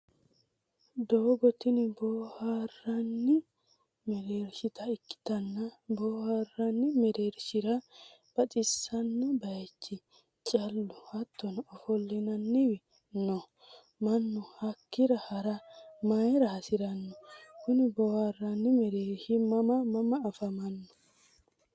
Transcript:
doogo tini booharanni merershita ikkitanna booharanni merershira baxisanno baychi, caalu hattono ofolinanniwi no. mannu hakkira hara mayira hasiranno? Kuni booharanni merershi mama mama afamano?